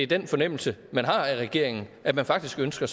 den fornemmelse af regeringen at man faktisk ønsker